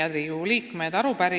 Head Riigikogu liikmed!